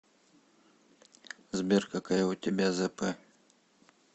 сбер какая у тебя зэпэ